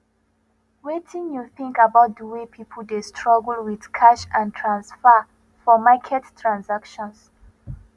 wetin you think about di way people dey struggle with cash and transfer for market transactions